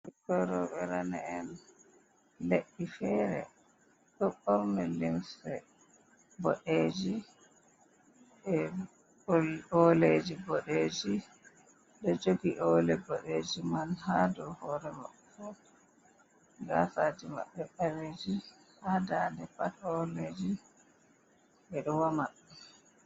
Ɓikkon rouɓe rane'en Le'i fere, ɗon ɓorni limse boɗeji.e ol Oleji boɗeji ɗo jogi ole boɗeji man ha dou hore mako. Gasaji Mabɓe ɓaleji ha dande Pat oleji ɓe ɗo wama.